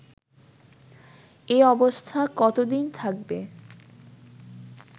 এ অবস্থা কতোদিন থাকবে